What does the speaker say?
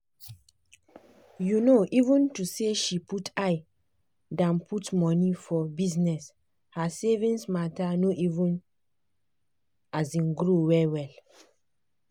um even tho say she put eye dan put money for bizness her savings matter no even um grow well-well.